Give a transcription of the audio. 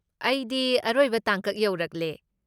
ꯑꯩꯗꯤ ꯑꯔꯣꯏꯕ ꯇꯥꯡꯀꯛ ꯌꯧꯔꯛꯂꯦ꯫